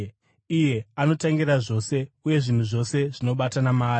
Iye anotangira zvose, uye zvinhu zvose zvinobatana maari.